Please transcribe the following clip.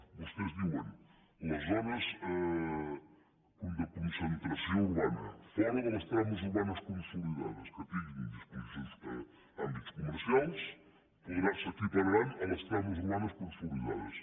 vostès diuen les zones de concentració urbana fora de les trames urbanes consolidades que tinguin àmbits comercials s’equipararan a les trames urbanes consolidades